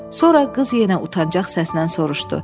Sonra qız yenə utancaq səslə soruşdu: